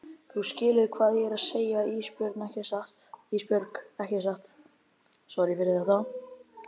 Þú skilur hvað ég er að segja Ísbjörg ekki satt?